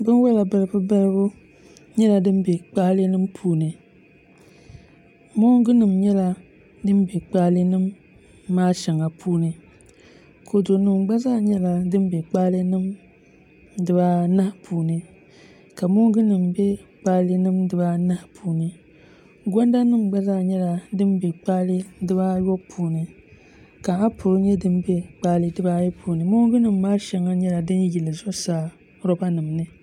bin'wala balibu balibu nyɛla din be kpaale nima puuni moongunima nyɛla din be kpaale nima shɛŋa puuni kɔdunima gba zaa nyɛla din n-be kpaale dibaa anahi puuni ka moongunima nyɛ din n-be kpaale dibaa anahi puuni gɔndanima gba zaa nyɛla din be kpaale dibaa ayɔbu puuni ka apuli nima nyɛ din n-be kpaale dibaa ayi puuni moongunima maa shɛŋa nyɛla din yili zuɣusaa lɔbanima ni